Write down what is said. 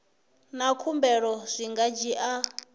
na khumbelo zwi nga dzhia